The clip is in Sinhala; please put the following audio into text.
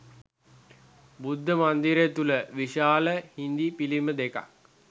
බුද්ධ මන්දිරය තුළ විශාල හිඳි පිළිම දෙකක්